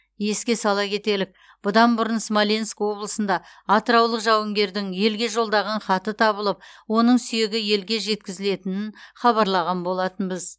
еске сала кетелік бұдан бұрын смоленск облысында атыраулық жауынгердің елге жолдаған хаты табылып оның сүйегі елге жеткізілетінін хабарған болатынбыз